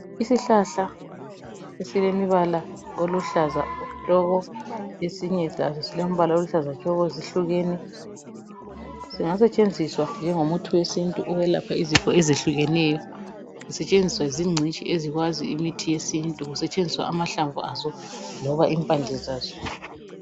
isihlahla esilombala oluhlaza tshoko esinye saso silombala oluhlaza tshoko zihlukene. Zingasetshenziswa njengomuthi we sintu umuthi wokwelapha izifo ezehlukeneyo zisetshenziswa zingcitshi ezikwazi imithi yesintu kusetshenziswa amahlamvu aso loba impande zazo.